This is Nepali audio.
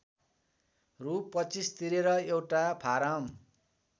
रु २५ तिरेर एउटा फारम